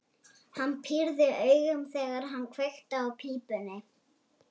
Hann pírði augun, þegar hann kveikti í pípunni.